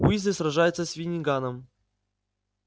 уизли сражается с финниганом